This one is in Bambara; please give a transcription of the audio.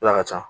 Ala ka ca